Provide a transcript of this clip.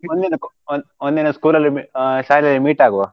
ಒಂದ್ ದಿನಕು ಒ~ ಒಂದಿನ school ಅಲ್ ಮಿ~ ಆ ಶಾಲೇಲಿ meet ಆಗುವ.